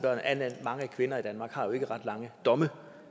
mange kvinder i danmark har jo ikke ret lange domme